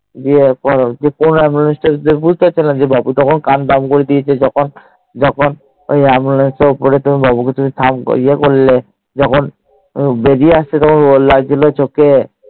দিয়ে কোন অ্যাম্বুলেন্স তাই দেক্য বাবু তখন কান্না আরাম্ভ করে দিয়েছে ও Ambulance এর ওপরে তুমি বাবু কে থা তুমি যে করলে তখুনবেরিয়ে এসসিজিলে ওর এ লাগছিলো চোঁখে